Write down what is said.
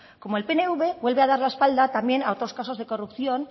como el pnv vuelve a dar la espalda también a otros casos de corrupción